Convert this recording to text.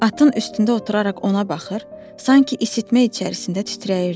Atın üstündə oturaraq ona baxır, sanki isitmə içərisində titrəyirdi.